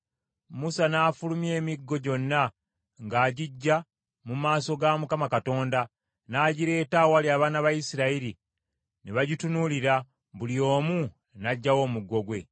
Musa n’afulumya emiggo gyonna ng’agiggya mu maaso ga Mukama Katonda, n’agireeta awali abaana ba Isirayiri; ne bagitunuulira, buli omu n’aggyawo omuggo gwe.